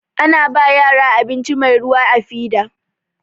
Ana ba yara abinci mai ruwa da fida.